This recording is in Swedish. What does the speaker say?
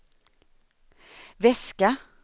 väska